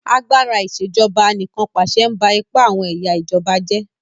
Agbára Ìṣèjọba Anìkànpàṣẹ ń ba ipa àwọn ẹ̀yà ìjọba jẹ́